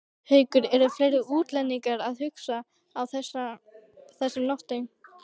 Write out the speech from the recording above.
Haukur: Eru fleiri útlendingar að hugsa á þessum nótum?